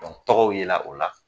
Bɔn tɔgɔw yela ola